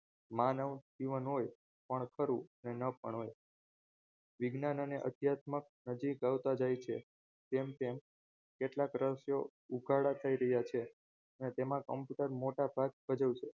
માનવ જીવન હોય પણ ખરું અને ન પણ હોય વિજ્ઞાન અને અધ્યાત્મક અજય કરતા જાય છે તેમ તેમ કેટલાક રહસ્યો ઉગાડા થઈ રહ્યા છે અને તેમાં computer મોટાભાગ ભજવશે